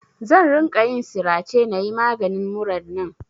Zan ringa yin sirace na yi maganin murar nan.